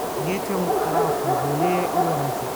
Geedka mkarafuu wuxuu leeyahay ur wanaagsan.